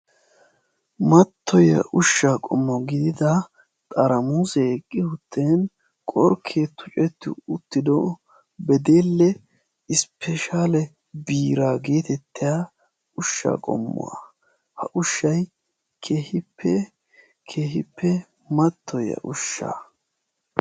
Mattoyiya ushshaa qommo gidida xaramusee eqqi uttin qorkkee tucetti uttido bedeelle isppeeshaale biiraa geetettiya ushshaa qommuwa. Ha ushshayi keehippe keehippe mattoyiya ushshaa.